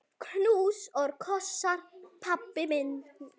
Knús og kossar, pabbi minn.